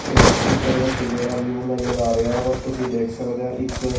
S picture ਵਿਚ ਜਿਹੜਾ view ਨਜ਼ਰ ਆ ਰਿਹਾ ਵਾ ਤੁਸੀ ਦੇਖ ਸਕਦੇ ਹੋ ਇਕ।